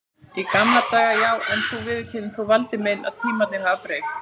Í gamla daga já, en þú viðurkennir þó Valdi minn að tímarnir hafa breyst.